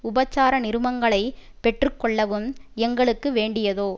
உபசார நிருபங்களைப் பெற்று கொள்ளவும் எங்களுக்கு வேண்டியதோ